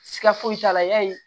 Siga foyi t'a la yali